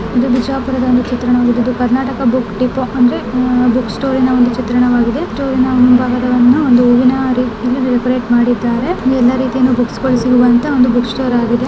ಇದು ಬಿಜಾಪುರ ಬಿಜಾಪುರದ ಒಂದು ಚಿತ್ರಣವಾಗಿದೆ ಕರ್ನಾಟಕ ಬುಕ್ ಡಿಪೋ ಅಂದ್ರೆ ಬುಕ್ ಸ್ಟೋರಿ ನ ಒಂದು ಚಿತ್ರಣವಾಗಿದೆ ಬುಕ್ ಸ್ಟೋರಿನ ಮುಂಭಾಗದಲ್ಲಿ ಒಂದು ಹೂವಿನ ಮಾಡಿದ್ದಾರೆ ಇಲ್ಲಿ ಎಲ್ಲ ರೀತಿಯ ಬುಕ್ಸ್ ಅನ್ನು ಜೋಡಿಸಿರುವ ಅಂತ ಒಂದು ಬುಕ್ ಸ್ಟೋರ್ ಆಗಿದೆ.